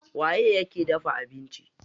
Waye yake dafa abinci?